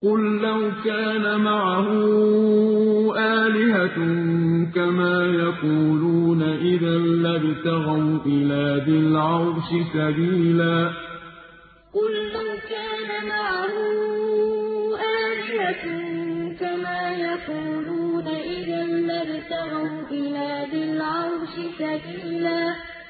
قُل لَّوْ كَانَ مَعَهُ آلِهَةٌ كَمَا يَقُولُونَ إِذًا لَّابْتَغَوْا إِلَىٰ ذِي الْعَرْشِ سَبِيلًا قُل لَّوْ كَانَ مَعَهُ آلِهَةٌ كَمَا يَقُولُونَ إِذًا لَّابْتَغَوْا إِلَىٰ ذِي الْعَرْشِ سَبِيلًا